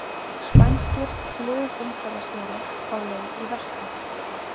Spænskir flugumferðarstjórar á leið í verkfall